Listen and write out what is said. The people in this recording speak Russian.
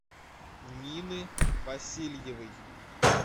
нины васильевой